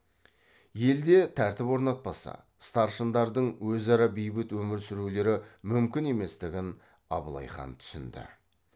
елде тәртіп орнатпаса старшындардың өзара бейбіт өмір сүрулері мүмкін еместігін абылай хан түсінді